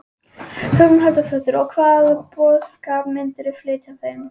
Hugrún Halldórsdóttir: Og hvaða boðskap myndirðu flytja þeim?